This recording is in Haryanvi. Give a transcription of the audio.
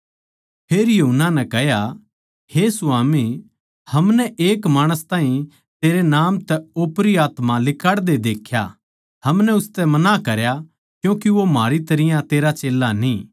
फेर यूहन्ना नै कह्या हे स्वामी हमनै एक माणस ताहीं तेरै नाम तै ओपरी आत्मा लिकाड़दे देख्या अर हमनै उसतै मना करया क्यूँके वो म्हारी तरियां तेरा चेल्ला न्ही था